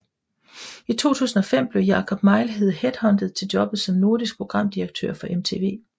I 2005 blev Jakob Mejlhede headhuntet til jobbet som Nordisk Programdirektør for MTV